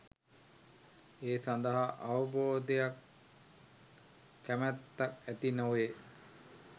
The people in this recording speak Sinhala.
ඒ සඳහා අවබෝධයක් කැමැත්තක් ඇති නොවේ.